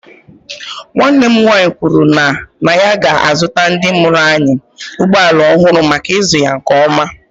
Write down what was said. Nwanne m nwaanyị kwuru na ya ga-azụta ndị mụrụ anyị ụgbọ ala ọhụrụ maka ịzụ ya nke ọma.